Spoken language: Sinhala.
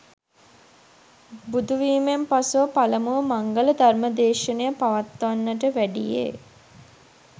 බුදුවීමෙන් පසුව පළමුව මංගල ධර්ම දේශනය පවත්වන්නට වැඩියේ